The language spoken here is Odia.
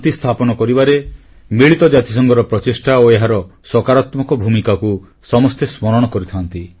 ବିଶ୍ୱରେ ଶାନ୍ତି ସ୍ଥାପନ କରିବାରେ ମିଳିତ ଜାତିସଂଘର ପ୍ରଚେଷ୍ଟା ଓ ଏହାର ସକାରାତ୍ମକ ଭୂମିକାକୁ ସମସ୍ତେ ସ୍ମରଣ କରିଥାନ୍ତି